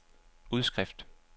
udskrift